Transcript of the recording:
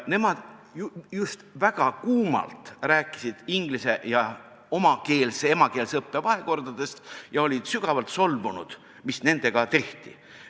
Nemad rääkisid väga kuumalt inglis- ja omakeelse, emakeelse õppe vahekordadest ning olid sügavalt solvunud, mis nendega tehti.